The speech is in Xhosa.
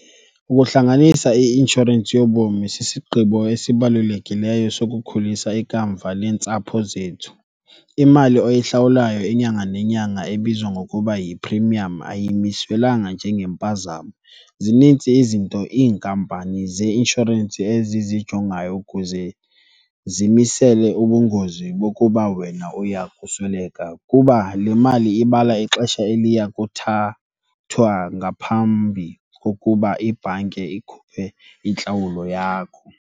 Ukuhlanganisa i-inshorensi yobomi sisigqibo esibalulekileyo sokukhulisa ikamva leentsapho zethu. Imali oyihlawulayo inyanga nenyanga ebizwa ngokuba yi-premium ayimiswelanga njengempazamo, zinintsi izinto iinkampani zeinshorensi ezizijongayo ukuze zimisele ubungozi bokuba wena uya kusweleka. Kuba le mali ibala ixesha eliya kuthathwa ngaphambi kokuba ibhanki ikhuphe intlawulo yakho.